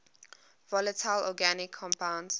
volatile organic compounds